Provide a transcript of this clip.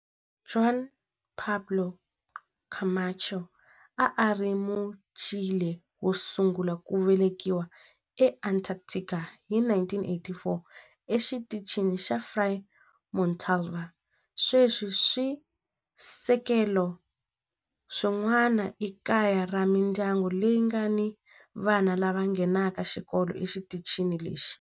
Juan Pablo Camacho a a ri Muchile wo sungula ku velekiwa eAntarctica hi 1984 eXitichini xa Frei Montalva. Sweswi swisekelo swin'wana i kaya ra mindyangu leyi nga ni vana lava nghenaka xikolo exitichini lexi.